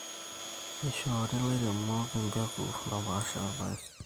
neishorri ilairemok empeku naapasha oorpaek.